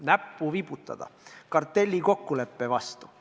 – näppu vibutada kartellikokkuleppe suunas.